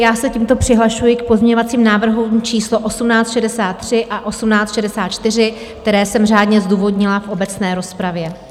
Já se tímto přihlašuji k pozměňovacím návrhům číslo 1863 a 1864, které jsem řádně zdůvodnila v obecné rozpravě.